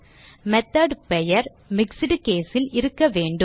method பெயர் mixed case ல் இருக்க வேண்டும்